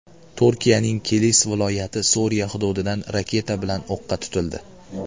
Turkiyaning Kilis viloyati Suriya hududidan raketa bilan o‘qqa tutildi.